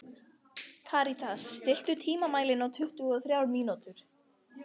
Karítas, stilltu tímamælinn á tuttugu og þrjár mínútur.